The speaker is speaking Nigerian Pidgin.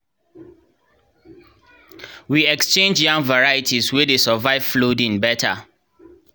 we exchange yam varieties wey dey survive flooding better